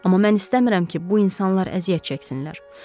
Amma mən istəmirəm ki, bu insanlar əziyyət çəksinlər.